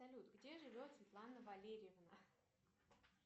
салют где живет светлана валерьевна